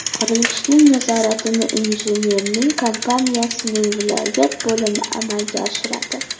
Qurilishning nazoratini injiniring kompaniyasining viloyat bo‘limi amalga oshiradi.